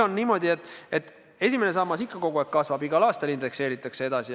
Ent esimesest sambast tulev makse ikka kogu aeg kasvab, igal aastal jälle indekseeritakse.